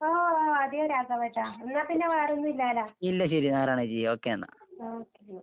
ഓ ഓ അതെയോ രാഘവേട്ടാ. എന്നാപ്പിന്നെ വേറൊന്നും ഇല്ലാല്ലോ? ഓക്കെ അന്നാ.